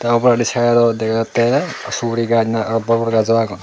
te oboladi side dot dega jatte suguri gaj na aro bor bor gaj o agon.